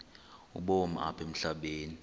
ubomi apha emhlabeni